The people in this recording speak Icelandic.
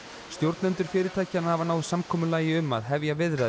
stjórnendur fyrirtækjanna hafa náð samkomulagi um að hefja viðræður